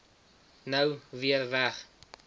nou weer weg